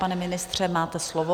Pane ministře, máte slovo.